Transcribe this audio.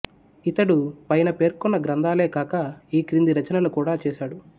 ఇతడు పైన పేర్కొన్న గ్రంథాలే కాక ఈ క్రింది రచనలు కూడా చేశాడు